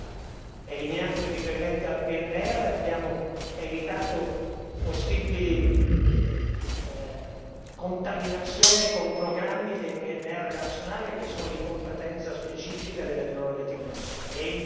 E ancora, eliminando i riferimenti al PNR abbiamo evitato possibili contaminazioni con programmi del PNR nazionale che sono di competenza specifica delle prerogative nazionali.